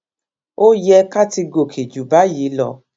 ó yẹ ká ti gòkè ju báyìí lọ